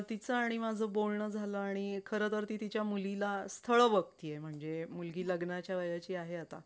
तिचं आणि माझं बोलणं झालं आणि खरंतर ती तिच्या मुलीला स्थळ बघतीये म्हणजे मुलगी लग्नाच्या वयाची आहे आता.